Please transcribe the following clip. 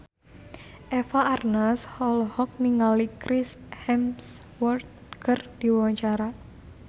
Eva Arnaz olohok ningali Chris Hemsworth keur diwawancara